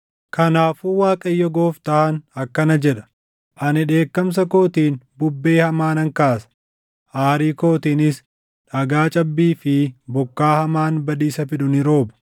“ ‘Kanaafuu Waaqayyo Gooftaan akkana jedha: Ani dheekkamsa kootiin bubbee hamaa nan kaasa; aarii kootiinis dhagaa cabbii fi bokkaa hamaan badiisa fidu ni rooba.